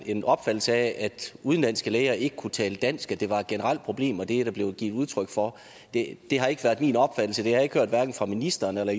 en opfattelse af at udenlandske læger ikke kan tale dansk at det var et generelt problem og det er der blevet givet udtryk for det har ikke været min opfattelse jeg har ikke hørt hverken fra ministeren eller